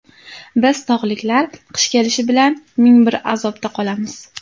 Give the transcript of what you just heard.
Biz tog‘liklar qish kelishi bilan ming bir azobda qolamiz.